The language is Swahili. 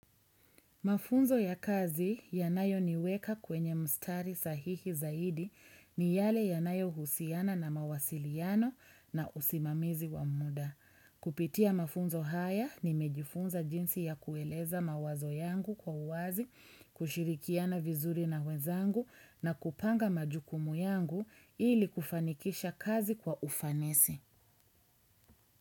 Mafunzo ya kazi yanayo niweka kwenye mstari sahihi zaidi, ni yale yanayo husiana na mawasiliano na usimamizi wa muda. Kupitia mafunzo haya nimejifunza jinsi ya kuueleza mawazo yangu kwa uwazi, kushirikiana vizuri na wezangu na kupanga majukumu yangu ili kufanikisha kazi kwa ufanesi.